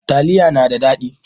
Taliya na da daɗi